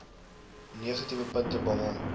negatiewe punte behaal